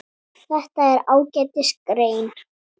Þetta er ágætis grein.